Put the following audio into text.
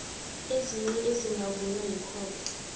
ezinye ezingavunywa yikhotho